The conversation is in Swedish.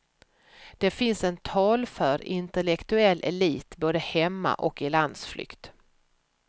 Det finns en talför intellektuell elit både hemma och i landsflykt.